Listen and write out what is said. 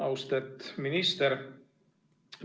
Austet minister!